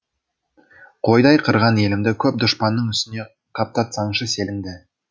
қойдай қырған елімді көп дұшпанның үстіне қаптатсаңшы селіңді